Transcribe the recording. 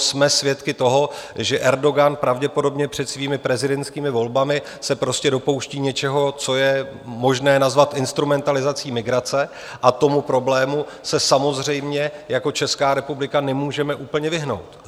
Jsme svědky toho, že Erdogan pravděpodobně před svými prezidentskými volbami se prostě dopouští něčeho, co je možné nazvat instrumentalizací migrace, a tomu problému se samozřejmě jako Česká republika nemůžeme úplně vyhnout.